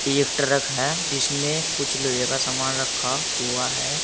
एक ट्रक है जिसमें कुछ लोहे का सामान रखा हुआ है।